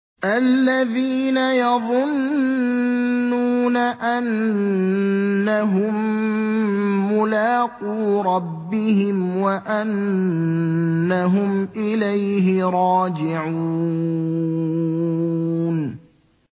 الَّذِينَ يَظُنُّونَ أَنَّهُم مُّلَاقُو رَبِّهِمْ وَأَنَّهُمْ إِلَيْهِ رَاجِعُونَ